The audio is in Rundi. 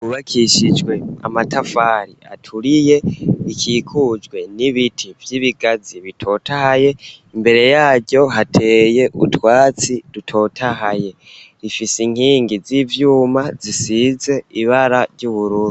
Bakishijwe amatafari aturiye ikikujwe n'ibiti vy'ibigazi bitotahaye imbere yaryo hateye utwatsi dutotahaye rifise inkingi z'ivyuma zisize ibara ry'uburundi.